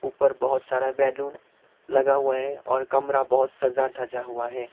पर बहोत सारा बैलून लगा हुआ है और कमरा बहोत सजा धजा हुआ है।